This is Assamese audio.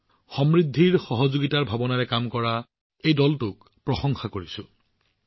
মই এই দলটোক সহযোগিতাৰ জৰিয়তে সমৃদ্ধিৰ ভাৱনাৰে কাম কৰি থকাৰ বাবে প্ৰশংসা কৰিছো